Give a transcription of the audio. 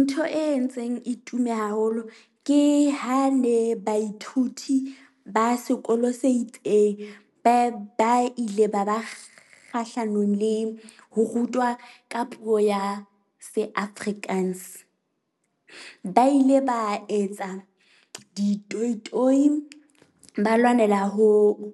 Ntho e entseng e tume haholo ke ha ne baithuti ba sekolo se itseng, ba ba ile ba ba kgahlanong le ho rutwa ka puo ya se-Afrikaans. Ba ile ba etsa di toyi toyi ba lwanela hoo,